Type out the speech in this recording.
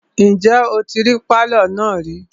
Ǹjẹ́ o tí rí pálọ̀ náà rí?